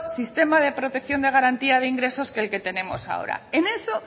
sistema de protección de garantía de ingresos que el que tenemos ahora en eso